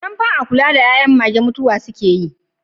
Idan ba a kula da 'yan'yan mage ba mutuwa suke yi.